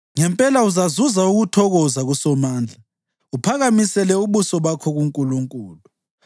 Ngempela uzazuza ukuthokoza kuSomandla uphakamisele ubuso bakho kuNkulunkulu.